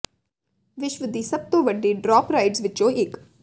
ਵਿਸ਼ਵ ਦੀ ਸਭ ਤੋਂ ਵੱਡੀ ਡਰਾਪ ਰਾਈਡਜ਼ ਵਿੱਚੋਂ ਇੱਕ